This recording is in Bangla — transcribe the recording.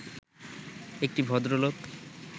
একটি ভদ্রলোক